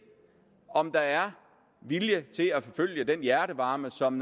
om der er vilje til at forfølge den hjertevarme som